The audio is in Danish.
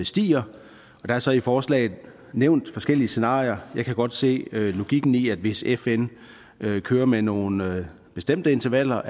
stiger der er så i forslaget nævnt forskellige scenarier jeg kan godt se logikken i at man hvis fn kører med nogle bestemte intervaller